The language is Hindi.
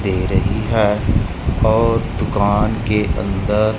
दे रही है और दुकान के अंदर--